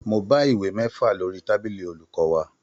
Mo bá ìwé mẹ́fà lórí tábìlì olùkọ́ wa